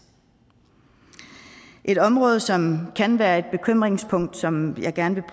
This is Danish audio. et område som kan være et bekymringspunkt som jeg gerne